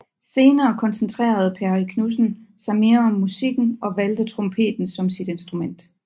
Senere koncentrerede Perry Knudsen sig mere om musikken og valgte trompeten som sit instrument